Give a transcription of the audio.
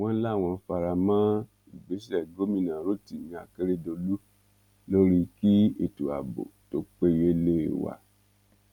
wọ́n láwọn fara mọ́ ìgbésẹ̀ gómìnà rotimi akeredolu lórí kí ètò ààbò tó péye leè wa